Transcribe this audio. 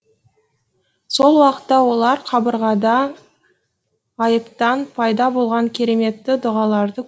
сол уақытта олар қабырғада ғайыптан пайда болған кереметті дұғаларды